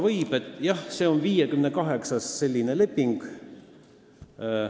Nii et, jah, see on 58. selline leping.